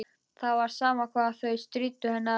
Það var sama hvað þau stríddu henni á þessu.